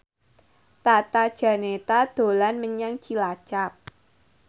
Tata Janeta dolan menyang Cilacap